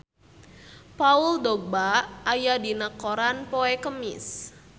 Paul Dogba aya dina koran poe Kemis